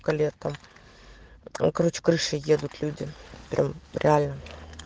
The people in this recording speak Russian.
к лету короче крышей едут люди прям реально